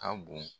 A bon